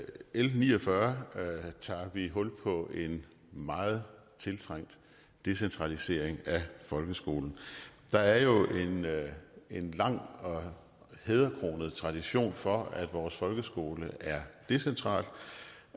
l ni og fyrre tager vi hul på en meget tiltrængt decentralisering af folkeskolen der er jo en lang og hæderkronet tradition for at vores folkeskole er decentral